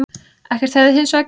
Ekkert hefði hins vegar gerst